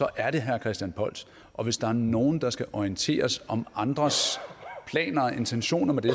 er det herre christian polls og hvis der er nogle der skal orienteres om andres planer og intentioner med det